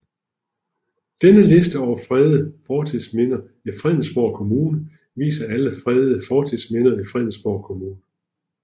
Denne liste over fredede fortidsminder i Fredensborg Kommune viser alle fredede fortidsminder i Fredensborg Kommune